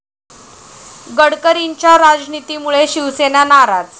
गडकरींच्या 'राज'नितीमुळे शिवसेना नाराज